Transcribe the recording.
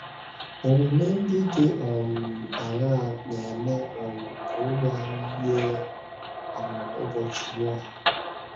Omume ndị dị um aṅaa na - eme um ka oge anyị yie um ụbọchị Noa?